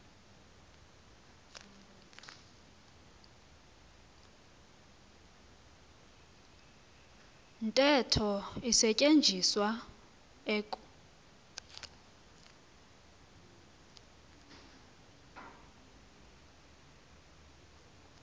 ntetho isetyenziswa eku